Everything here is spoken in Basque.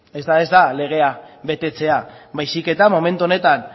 eta ez da legea betetzea baizik eta momentu honetan